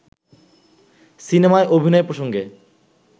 সিনেমায় অভিনয় প্রসঙ্গে